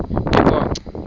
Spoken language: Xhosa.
eqonco